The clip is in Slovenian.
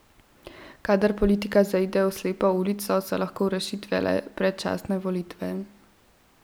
Kadar politika zaide v slepo ulico, so lahko rešitev le predčasne volitve.